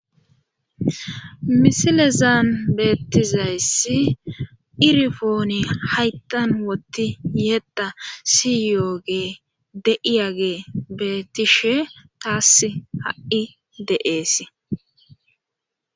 misilezaan beettizayssi irfooni hayttan wotti yeetta siyooge de,'iyagee beettishe taas ha'i de'ees